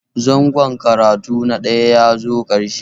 Zangon karatu na ɗaya ya zo ƙarshe